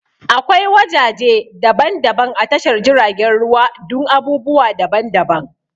Akwai wajaje daban-daban a tashar jiragen ruwa dun abubuwa daban daban